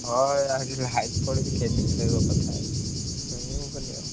ହଁ ଏଇଆ ହଉଛି line ପଳେଇଛି କେମିତି ଶୋଇବ କଥା ଶୋଇହବନି ଆଉ।